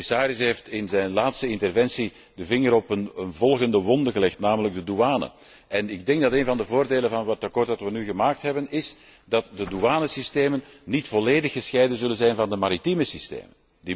De commissaris heeft in zijn laatste interventie de vinger op een volgende wonde gelegd, namelijk de douane. Een van de voordelen van het verslag dat we nu gemaakt hebben, is dat de douanesystemen niet volledig gescheiden zullen zijn van de maritieme systemen.